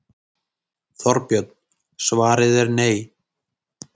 Þorbjörn: Svarið er nei?